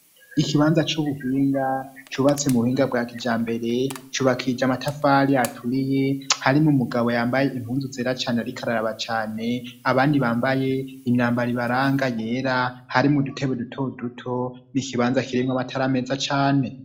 Ikibanza c'ubuhinga cubatsi mu buhinga bwa kija mbere cubakija amatafari aturiye hari mu mugabo yambaye impunzu zera cane arikararaba cane abandi bambaye imyambara ibaranga yera hari mu dutebe duto duto n' ikibanza kiremwo batariameza cane.